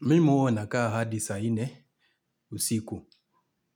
Mimi huwa nakaa hadi saa nne usiku.